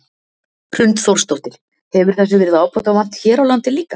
Hrund Þórsdóttir: Hefur þessu verið ábótavant hér á landi líka?